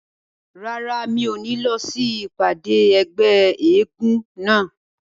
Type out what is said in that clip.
Rárá, mi ò ní lọ sí ìpàdé ẹgbẹ́ eégún náà